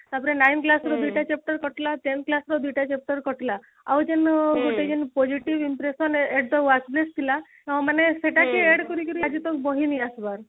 ତାପରେ nine class ର ଦୁଇଟା chapter କଟିଲା tenth class ର ଦୁଇଟା chapter କଟିଲା ଆଉ ଯେନ ଆଁ ଗୋଟେ ଯେନ positive impression ଥିଲା ତ ମାନେ ସେଟା କି add କରିକିରି ଆଜି ତ ବହି ନେଇ ଆସବାର